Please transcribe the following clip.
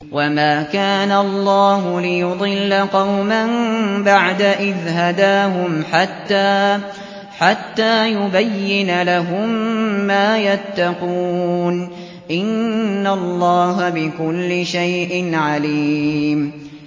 وَمَا كَانَ اللَّهُ لِيُضِلَّ قَوْمًا بَعْدَ إِذْ هَدَاهُمْ حَتَّىٰ يُبَيِّنَ لَهُم مَّا يَتَّقُونَ ۚ إِنَّ اللَّهَ بِكُلِّ شَيْءٍ عَلِيمٌ